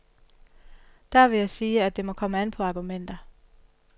Der vil jeg sige, at det må komme an på argumenter.